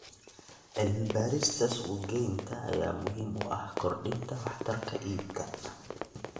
Cilmi-baarista suuq-geynta ayaa muhiim u ah kordhinta waxtarka iibka.